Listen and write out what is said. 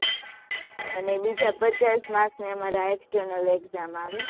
અને બીજા પચાસ marks ના અમારે externalexam આવે